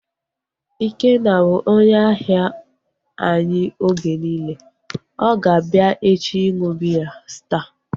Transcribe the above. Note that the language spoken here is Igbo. Ikenna bụ onye ahia anyị oge niile, ọ ga-abịa echi ịṅụ biya Staa